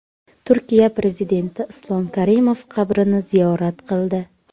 Turkiya prezidenti Islom Karimov qabrini ziyorat qildi .